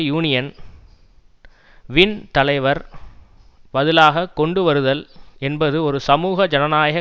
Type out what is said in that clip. union வின் தலைவர் பதிலாக கொண்டுவருதல் என்பது ஒரு சமூக ஜனநாயக